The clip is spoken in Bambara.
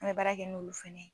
An bɛ baara kɛ n'olu fana ye